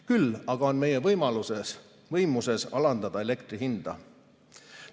Küll aga on meie võimuses alandada elektri hinda.